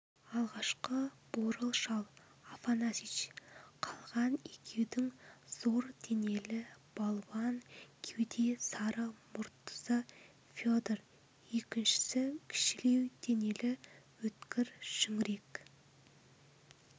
алғашқы бурыл шал афанасьич қалған екеудің зор денелі балуан кеуде сары мұрттысы федор екіншісі кішілеу денелі өткір шүңірек